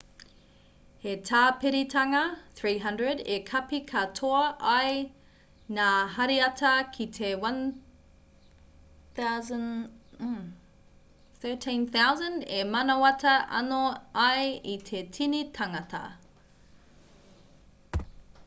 he tāpiritanga 300 e kapi katoa ai ngā hariata ki te 1,3000 e manawatā anō ai i te tini tāngata